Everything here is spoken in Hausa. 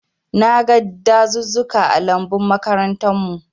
Na gan dazuzzuka ã lambun makarantan mu.